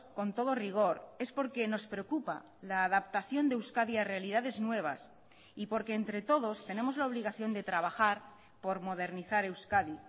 con todo rigor es porque nos preocupa la adaptación de euskadi a realidades nuevas y porque entre todos tenemos la obligación de trabajar por modernizar euskadi